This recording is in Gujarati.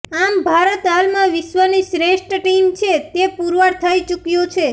આમ ભારત હાલમાં વિશ્ર્વની શ્રેષ્ઠ ટીમ છે તે પુરવાર થઈ ચૂક્યું છે